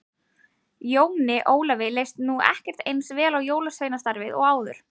Jóni Ólafi leist nú ekki eins vel á jólasveinastarfið og áður.